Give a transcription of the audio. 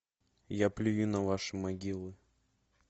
я плюю на ваши могилы